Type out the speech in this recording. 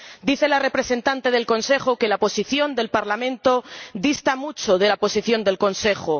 Dice la representante del Consejo que la posición del Parlamento dista mucho de la posición del Consejo.